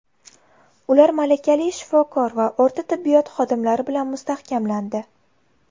Ular malakali shifokor va o‘rta tibbiyot xodimlari bilan mustahkamlandi.